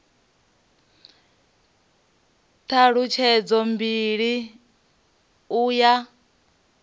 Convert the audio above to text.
t halutshedzo mbili u ya